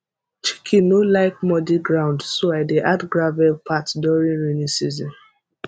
chicken no like muddy ground so i dey add gravel path during rainy season